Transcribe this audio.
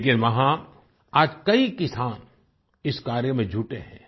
लेकिन वहाँ आज कई किसान इस कार्य में जुटे हैं